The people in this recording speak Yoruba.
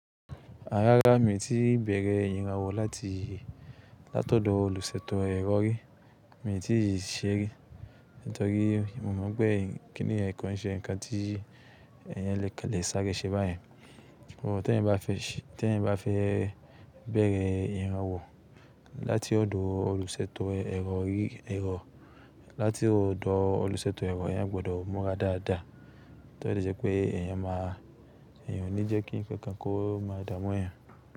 Rárá, mi ò tí ì bèrè ìyanwò láti ọ̀dọ̀ olùṣètò ẹ̀rọ rí, mi ò tí ì ṣe rí. Nítorí mo mọ̀ n pé kíni yen kọ́ ń ṣe ǹkan tí èyàn kan le sáré ṣe báyẹn. Bò, tí ẹ̀yan bá fẹ́ bèrè ìyranwò láti ọ̀dọ̀ olùṣètò ẹ̀rọ, agbọdọ̀ mura dáadáa. Tó dẹ̀ jẹ́ pé èyàn ma eyan o ní jẹ́ kí ǹkan kan kó máa dààmú yan.